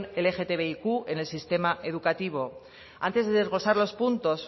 lgtbiq en el sistema educativo antes de desglosar los puntos